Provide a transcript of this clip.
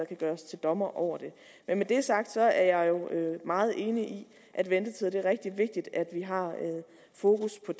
kan gøre sig til dommer over det men med det sagt så er jeg jo meget enig i at ventetider er det rigtig vigtigt at vi har fokus på